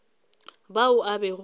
bao a bego a ba